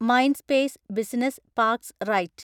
Mindspace business parks right